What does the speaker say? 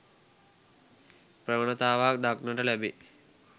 ප්‍රවණතාවක් දක්නට ලැබේ.